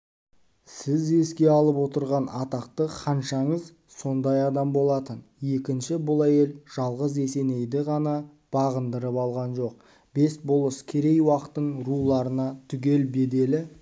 сіз еске алып отырған атақты ханшаңыз сондай адам болатын екінші бұл әйел жалғыз есенейді ғана бағындырып алған жоқ бес болыс керей-уақтың руларына түгел беделі